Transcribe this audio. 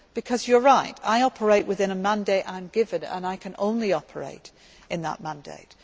do. Because you are right, I operate within a mandate that I am given, and I can only operate in that mandate.